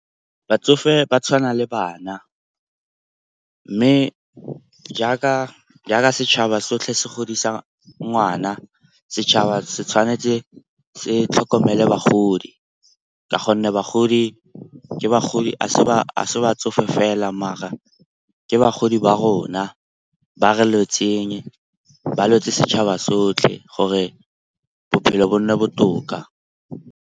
Batsofe ba tshwana le bana. Mme jaaka setšhaba sotlhe se godisa ngwana, setšhaba se tshwanetse se tlhokomele bagodi ka gonne bagodi a se batsofe fela mara ke bagodi ba rona, ba re lwetseng. Ba lwetse setšhaba sotlhe gore bophelo bo nne botoka.